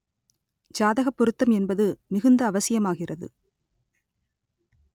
ஜாதக பொருத்தம் என்பது மிகுந்த அவசியமாகிறது